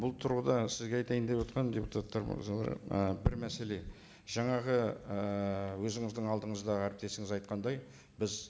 бұл тұрғыда сізге айтайын деп отырғаным депутаттар мырзалар і бір мәселе жаңағы ыыы өзіңіздің алдыңызда әріптесіміз айтқандай біз